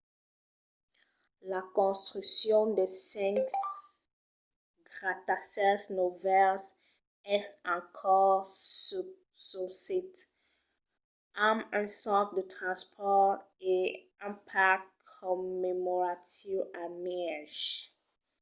la construccion de cinc gratacèls novèls es en cors sul sit amb un centre de transpòrt e un parc commemoratiu al mièg